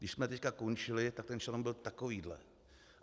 Když jsme teď končili, tak ten šanon byl takovýhle.